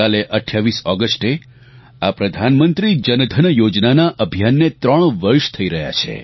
કાલે 28 ઓગસ્ટે આ પ્રધાનમંત્રી જનધન યોજના ના અભિયાનને ત્રણ વર્ષ થઇ રહ્યાં છે